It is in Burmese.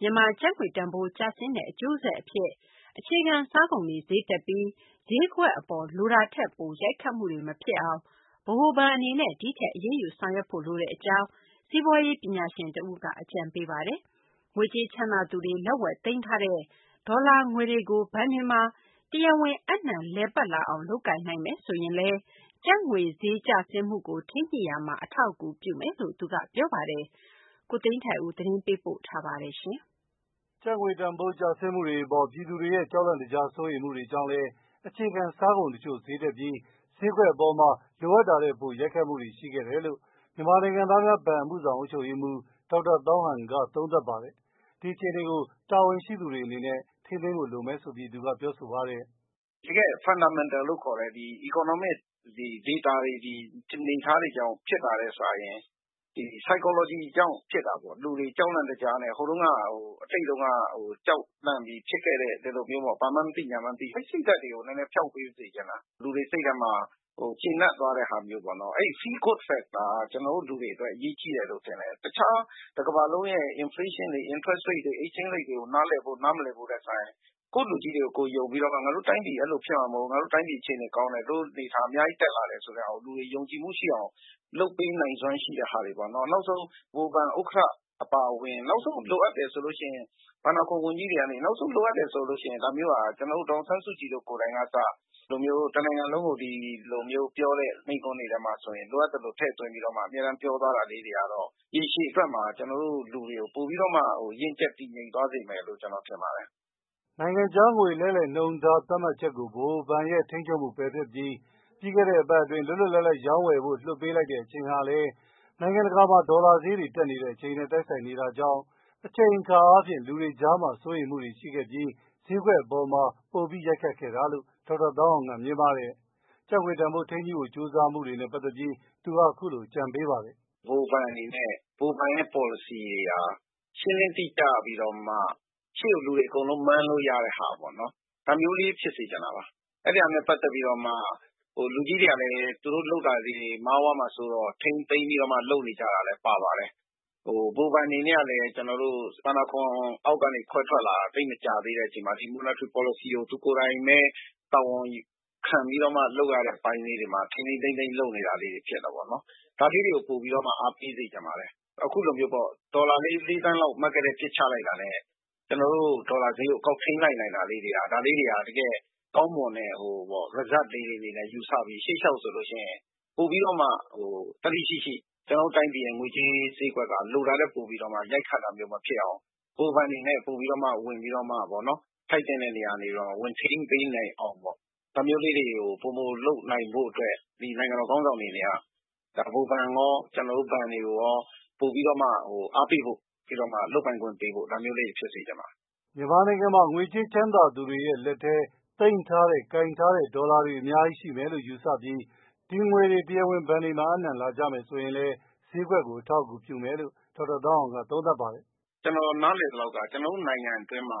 မြန်မာကျပ်ငွေတန်ဖိုး ကျဆင်းတဲ့ အကျိုးဆက်အဖြစ် အခြေခံစားကုန်တွေ ဈေးတက်ပြီး ဈေးကွက်အပေါ် လိုတာထက်ပို ရိုက်ခတ်မှုတွေ မဖြစ်အောင် ဗဟိုဘဏ်အနေနဲ့ ဒီထက် အရေးယူ ဆောင်ရွက်ဖို့လိုတဲ့အကြောင်း စီးပွားရေး ပညာရှင်တဦးက အကြံပေးပါတယ်။ ငွေကြေးချမ်းသာသူတွေ လက်ဝယ်သိမ်းထားတဲ့ ဒေါ်လာငွေတွေကို ဘဏ်တွေမှာ တရားဝင် အပ်နှံလည်ပတ်လာအောင် လုပ်ကိုင်နိုင်မယ်ဆိုရင်လည်း ကျပ်ငွေဈေး ကျဆင်းမှုကို ထိန်းညှိရာမှာ အထောက်အကူပြုမယ်လို့ သူက ပြောပါတယ်။ ကိုသိန်းထိုက်ဦး သတင်းပေးပို့ထားပါတယ်။ ကျပ်ငွေတန်ဖိုးကျဆင်းတဲ့အပေါ် ပြည်သူတွေရဲ့ ကြောက်လန့်တကြား စိုးရိမ်မှုတွေကြောင့်လည်း၊ အခြေခံစားကုန်တချို့ ဈေးတက်ပြီး၊ ဈေးကွက်အပေါ် လိုတာထက် ပိုရိုက်ခတ်ခဲ့တာတွေ ရှိခဲ့တယ်လို့ မြန်မာနိုင်ငံသားများဘဏ် အမှုဆောင် အုပ်ချုပ်ရေးမှူး ဒေါက်တာသောင်းဟန်က သုံးသပ်ပါတယ်။ ဒီအခြေအနေကို တာဝန်ရှိသူတွေ အနေနဲ့ ထိန်းသိမ်းနိုင်ဖို့ လိုမယ်လို့ သူက ပြောဆိုပါတယ်။ "တကယ့် Fundamental လို့ခေါ်တဲ့ economic data တွေ အနေအထားတွေကြောင့် ဖြစ်တာထက်စာရင် ဒီ Psychology ကြောင့် ဖြစ်တာပေါ့။လူတွေကြောက်လန့်တကြားနဲ့ ဟိုးတုံးက အတိတ်တုန်းက ကြောက်လန့်ပြီး ဖြစ်ခဲ့တဲ့ ဘာမှန်းမသိ ညာမှန်းမသိ အဲ့စိတ်တွေကို နည်းနည်းဖျောက်ပေးစေချင်တာ။ လူတွေစိတ်ထဲမှာ ကျေနပ်သွားတဲ့ ဟာမျိူး၊ အဲဒီ Feel Good Factor က ကျနော်တို့ လူအတွက် ရေးကြီးတယ်လို့ ထင်တယ်။ တခြား တစ်ကမ္ဘာလုံးရဲ့ Inflation တွေ၊ Exchange Rate တွေ Interest rate တွေကို နားလည်ဖို့ နားမလည်ဖို့ထက်စာရင် ကိုယ့်လူကြီးတွေကို ယုံပြီးတော့မှ ငါတို့အဲလိုဖြစ်မှာ မဟုတ်ဖူး၊ငါတို့တိုင်းပြည်အခြေအနေကောင်းတယ်၊ တိုင်းပြည်အများကြီး တက်လာတယ်ဆိုတဲ့ဟာကို လူတွေယုံကြည်မှုရှိအောင် လုပ်ပေးနိုင်စွမ်း ရှိတဲ့ဟာတွေပေါ့နော်၊ နောက်ဆုံး ဗဟိုဘဉ် ဥက္ကဋ္ဌ အပါအဝင်၊ နောက်ဆုံး လိုအပ်တယ်ဆိုလို့ ရှိရင် ဘန်နာအခွန်ဝန်ကြီးတွေကနေ ၊နောက်ဆုံးက ဒေါ်အောင်ဆန်းစုကြည်လို ကိုယ်တိုင်ကအစ တစ်နိုင်ငံလုံးကို မိန့်ခွန်းပြောတဲ့ထဲမှာ လိုအပ်သိလို ထည့်သွင်းပြောသွားတာလေးတွေကတော့ ရည်ရှည်အတွက်မှာ ကျနေ်ာတို့ လူတွေကို ပိုပြီးတော့မှ ရင့်ကျက်တည်ငြိမ်သွားစေမယ်လို့ ကျနော်ထင်ပါတယ်။" နိုင်ငံခြားငွေ လဲလှယ်နှုန်းထား သတ်မှတ်ချက်အပေါ် ဗဟိုဘဏ်ရဲ့ ထိန်းချုပ်မှု၊ ပယ်ဖျက်ပြီး လွတ်လွတ်လပ်လပ် ရောင်းဝယ်ဖို့ လွှတ်ပေးလိုက်တဲ့အချိန်ဟာလည်း နိုင်ငံတကာမှာ ဒေါ်လာဈေး တက်နေတဲ့အချိန်နဲ့ တိုက်ဆိုင်နေတာကြောင့် အချိန်အခါအားဖြင့်လည်း လူတွေကြားမှာ စိုးရိမ်းမှုတွေ ရှိခဲ့ပြီး၊ ဈေးကွက်အပေါ်ပိုပြီး ရိုက်ခတ်ခဲ့တာလို့ ဒေါက်သာ သောင်းဟန်က မြင်ပါတယ်။ ကျပ်ငွေတန်ဖိုး ထိန်းညှိ့ဖို့ ကြိုးစားရမှာ လုပ်ဆောင်သင့်တာတွေနဲ့ ပတ်သက်လို့လည်း သူက အခုလို ပြောပါတယ်။ "ဗဟိုဘဏ်ရဲ့ policy တွေဟာ ရှင်းလင်းတိကျပြီးတော့မှ ရှေ့ကိုလူတွေအကုန်လုံး မှန်းလို့ရတာပေါ့နော်။ ဒါမျိုးလေးဖြစ်စေ့ချင်တာပါ။ အဲ့ဒီဟာနဲ့ ပက်သက်ပြီးတော့မှ လူကြီးတွေကလည်း သူတို့လုပ်တာလေးတွေ မှားသွားမှာဆိုးတဲ့အတွက် ထိန်းသိမ်းလုပ်နေကြတယ်လို့လည်း ထင်ပါတယ်။ ဗဟိုဘဏ်အနေနဲ့ကလည်း ကျနော်တို့ ဘဏ္ဍာခွန်အောက်ကနေ ခွဲထွက်လာတာ သိပ်မကြာသေးတဲ့အချိန်မှာ ပေါ်လစီကို သူကိုယ်တိုင်ဘဲ တာဝန်ခံပီးတော့ လုပ်ရတဲ့အခါ ထိန်းထိန်းသိမ်းသိမ်း လုပ်နေရတယ်လို့ ကျနော်ထင်ပါတယ်။ ဒါလေးတွေကို ပိုပြီးတော့မှ အားပေးစေ့ချင်ပါတယ်.။အခုလိုမျိုးပေါ့ ဒေါ်လာလေးသန်းလောက် Market ထဲပစ်ချလိုက်တာနဲ့ ဒေါ်လာဈေးကို ကောက်ထိန်းလိုက်နိုင်တာလေးတွေက ဒါလေးတွေက ဗဟိုဘဏ်ရဲ့ ကောင်းမွန်တဲ့ result လို့ ယူဆပီး ရှေ့လျှောက် ပိုပီးတော့မှ သတ္တိရှိရှိ ကျနော်တို့ တိုင်းပြည်ရဲ့ ငွေကြေး ဈေးကွက်က လိုတာထက် ပိုပီးတော့မှ ရိုက်ခတ်တာမျိုး မဖြစ်ရအောင် ဗဟိုဘဏ်အနေနဲ့ ပိုပီးတော့မှ ထိုက်သင့်တဲ့နေရာကနေ ဝင်ထိန်းပေးနိုင်အောင်ပေါ့နော် ဒါမျိုးလေးတွေကို ပိုမိုလုပ်နိုင်ဖို့အတွက် နိုင်ငံတော် ခေါင်းဆောင်တွေ အနေနဲ့က ဗဟိုဘဏ်ရော ကျနော်တို့ဘဏ်တွေကိုရော အားပေးတာမျိုး လုပ်ပိုင်ခွင့်ပေးတာမျိုး၊ ဒါမျိုးလေးတွေ ဖြစ်စေချင်ပါတယ်။" မြန်မာနိုင်ငံမှာ ငွေကြေးချမ်းသာသူတွေရဲ့ လူတွေရဲ့ လက်ထဲမှာ ကိုင်ထားတဲ့ ဒေါ်လာတွေ အများကြီး ရှိမယ်လို့ ယူဆပြီး ဒီငွေတွေ တရားဝင် ဘဏ်တွေမှာ အပ်နှံလာကြမယ်ဆိုရင် ဈေးကွက်ကို အထောက်အကူအပြုမယ်လို့ ဒေါက်တာ ဟောင်းဟန်က သုံးသပ်ပါတယ်။ "ကျနော် နားလည်သလောက်က ကျနော်တို့ နိုင်ငံအတွင်းမှာ